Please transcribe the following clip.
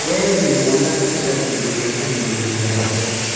We wĩ mwana ĩkĩra kĩndũ gya kũringĩrĩria heho.